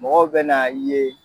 Mɔgɔw bɛna n ye.